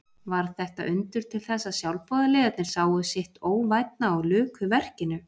Varð þetta undur til þess að sjálfboðaliðarnir sáu sitt óvænna og luku verkinu.